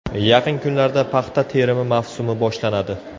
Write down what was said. Yaqin kunlarda paxta terimi mavsumi boshlanadi.